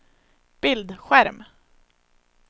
bildskärm